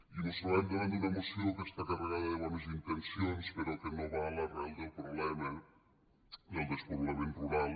i mos trobem davant d’una moció que està carregada de bones intencions però que no va a l’arrel del problema del despoblament rural